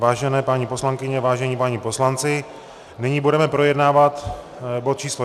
Vážené paní poslankyně, vážení páni poslanci, nyní budeme projednávat bod číslo